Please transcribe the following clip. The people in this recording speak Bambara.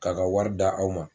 K'a ka wari d'a aw ma